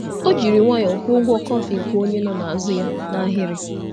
Ọ jiri nwayọọ kwụọ ụgwọ kọfị nke onye nọ n’azụ ya n’ahịrị.